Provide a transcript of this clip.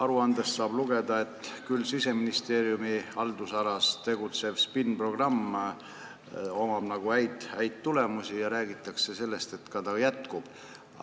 Aruandest saab lugeda, et Siseministeeriumi haldusalas tegutseval SPIN-programmil on häid tulemusi, ja räägitakse sellest, et see ka jätkub.